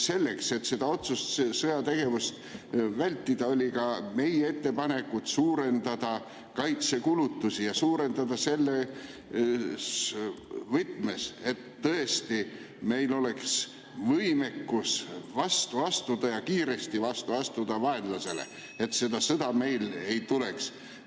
Selleks, et otsest sõjategevust vältida, oli ka meie ettepanek suurendada kaitsekulutusi, kusjuures suurendada selles võtmes, et meil tõesti oleks võimekus vastu astuda ja kiiresti vastu astuda vaenlasele, selleks et see sõda meile ei tuleks.